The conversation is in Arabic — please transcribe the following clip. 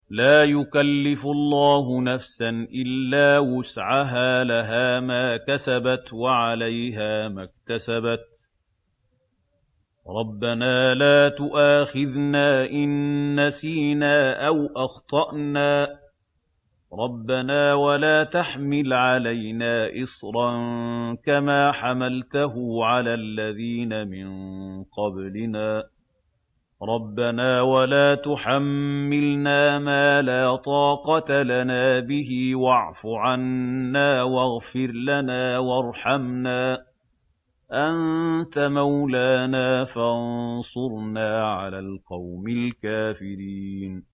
لَا يُكَلِّفُ اللَّهُ نَفْسًا إِلَّا وُسْعَهَا ۚ لَهَا مَا كَسَبَتْ وَعَلَيْهَا مَا اكْتَسَبَتْ ۗ رَبَّنَا لَا تُؤَاخِذْنَا إِن نَّسِينَا أَوْ أَخْطَأْنَا ۚ رَبَّنَا وَلَا تَحْمِلْ عَلَيْنَا إِصْرًا كَمَا حَمَلْتَهُ عَلَى الَّذِينَ مِن قَبْلِنَا ۚ رَبَّنَا وَلَا تُحَمِّلْنَا مَا لَا طَاقَةَ لَنَا بِهِ ۖ وَاعْفُ عَنَّا وَاغْفِرْ لَنَا وَارْحَمْنَا ۚ أَنتَ مَوْلَانَا فَانصُرْنَا عَلَى الْقَوْمِ الْكَافِرِينَ